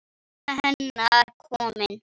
Mamma hennar komin.